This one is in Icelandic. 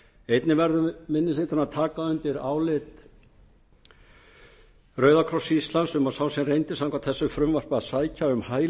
einnig verður minni hlutinn að taka undir álit rauða kross íslands um að sá sem reyndi samkvæmt þessu frumvarpi að sækja um